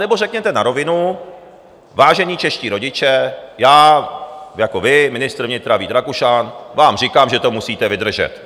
Anebo řekněte na rovinu: Vážení čeští rodiče, já - jako vy, ministr vnitra Vít Rakušan - vám říkám, že to musíte vydržet.